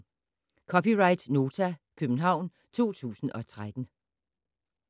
(c) Nota, København 2013